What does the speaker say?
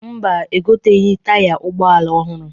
Mba, egoteghi taya ụgbọala ọhụrụ.